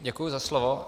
Děkuju za slovo.